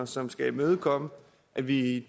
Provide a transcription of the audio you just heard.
som skal imødekomme at vi i